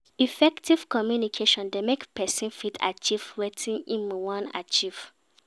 Effective communication dey make persin fit achieve wetin im won achieve